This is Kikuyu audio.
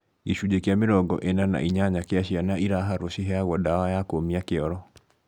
Gĩcunjĩ kĩa mĩrongo ĩna na inyanya kĩa ciana iraharũo ciheyagwo dawa ya kũũmia kĩoro